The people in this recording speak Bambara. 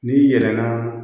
N'i yɛlɛla